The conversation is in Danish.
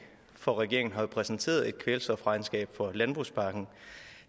for regeringen præsenterede jo et kvælstofregnskab for landbrugspakken